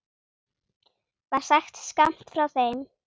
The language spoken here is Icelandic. var sagt skammt frá þeim.